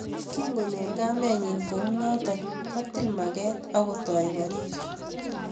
Kingoro kamenyi kounoto, kotil maget akotoi korir